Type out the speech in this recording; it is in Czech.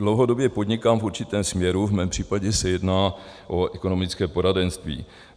Dlouhodobě podnikám v určitém směru, v mém případě se jedná o ekonomické poradenství.